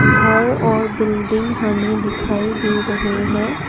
घर और बिल्डिंग हमें दिखाई दे रहे हैं।